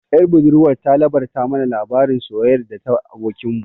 Ƴar budurwar ta labarta mana labarin soyayyar ta da abokin mu